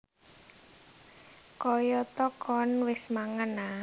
Kayata Koen wis mangan a